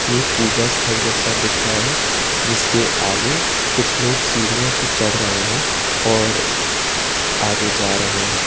एक पूजा स्थल जैसा दिख रहा है जिसके आगे कुछ लोग सीढ़ियों से चढ़ रहे है और आगे जा रहे हैं।